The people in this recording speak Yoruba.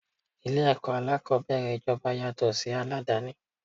Ilé ẹ̀kọ́ alákòbẹ̀rẹ̀ ijoba yàtọ̀ sí ti aládàni.